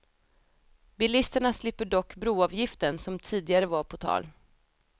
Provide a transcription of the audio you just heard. Bilisterna slipper dock broavgiften, som tidigare var på tal.